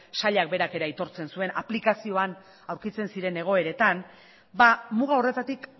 sailak berak ere aitortzen zuen aplikazioan aurkitzen ziren egoeretan muga horretatik